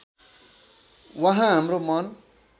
उहाँ हाम्रो मन